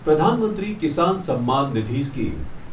Pradhan Mantri Kisan Samman Nidhi scheme